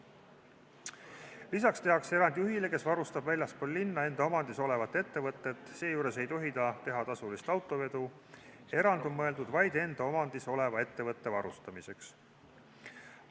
Lisaks tehakse erand juhile, kes varustab väljaspool linna enda omandis olevat ettevõtet, seejuures ei tohi ta teha tasulist autovedu, erand on mõeldud vaid enda omandis oleva ettevõtte varustamiseks.